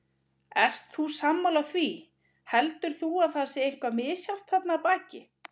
Ert þú sammála því, heldur þú að það sé eitthvað misjafnt þarna að baki?